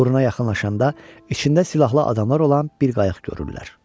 Burna yaxınlaşanda içində silahlı adamlar olan bir qayıq görürlər.